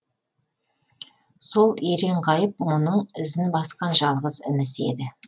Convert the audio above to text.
сол еренғайып мұның ізін басқан жалғыз інісі еді